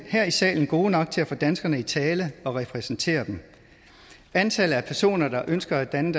her i salen gode nok til at få danskerne i tale og repræsentere dem antallet af personer der ønsker at danne